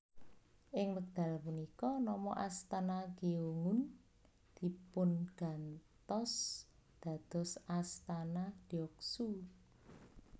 Ing wekdal punika nama Astana Gyeongun dipungantos dados Astana Deoksu